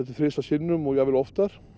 til þrisvar sinnum og jafnvel oftar